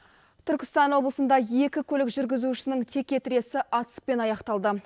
түркістан облысында екі көлік жүргізушісінің теке тіресі атыспен аяқталды